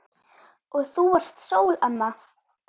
Og þú varst sól, amma.